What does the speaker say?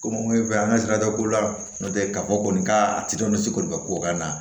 Komi an bɛ fɛ an ka sirada ko la n'o tɛ k'a fɔ kɔni k'a ka ko ka naa